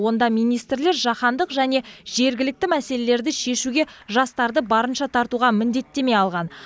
онда министрлер жаһандық және жергілікті мәселелерді шешуге жастарды барынша тартуға міндеттеме алған